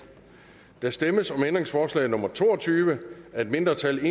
der stemmes om ændringsforslag nummer to og tyve af et mindretal